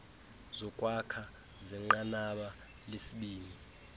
zokwakha zenqanaba lesibini